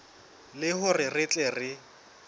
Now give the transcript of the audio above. le hore re tle re